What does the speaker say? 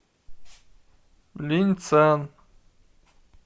линьцан